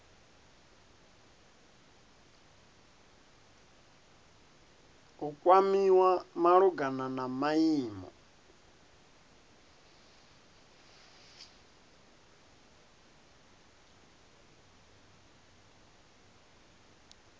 u kwamiwa malugana na maimo